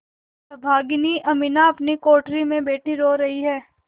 अभागिनी अमीना अपनी कोठरी में बैठी रो रही है